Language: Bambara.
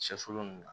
Sɛfulon nunnu na